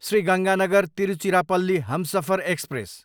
Shri Ganganagar, Tiruchirappalli Humsafar express